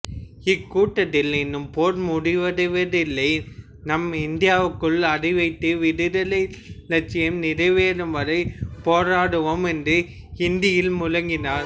இக்கூட்டத்தில் இன்னும் போர் முடிவடையவில்லை நாம் இந்தியாவுக்குள் அடிவைத்து விடுதலை இலட்சியம் நிறைவேறும் வரை போராடுவோம் என்று இந்தியில் முழங்கினார்